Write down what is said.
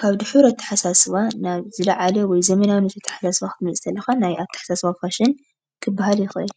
ካብ ዱሑር ኣተሓሳስባ ናብ ዝለዓለ ወይ ዘመናውነት ኣተሓሳስባ ክትመጽስእ ተለኻ ናይ ኣተሓሳስባ ፋሽን ክበሃል ይከኣል።